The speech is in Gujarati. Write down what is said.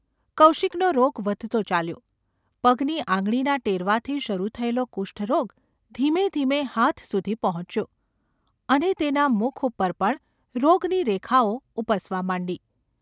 કૌશિકનો રોગ વધતો ચાલ્યો. પગની આંગળીના ટેરવાથી શરૂ થયેલો કુષ્ઠરોગ ધીમેધીમે હાથ સુધી પહોંચ્યો, અને તેના મુખ ઉપર પણ રોગની રેખાઓ ઊપસવા માંડી.